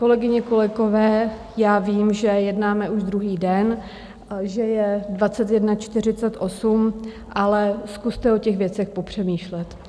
Kolegyně, kolegové, já vím, že jednáme už druhý den, že je 21.48, ale zkuste o těch věcech popřemýšlet.